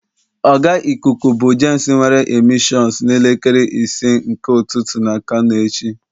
oga Ịkụku bu James nwere a missions n'elekere ise nke ụtụtụ na kano echi.